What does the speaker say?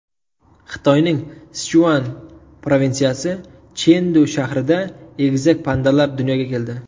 Xitoyning Sichuan provinsiyasi, Chendu shahrida egizak pandalar dunyoga keldi.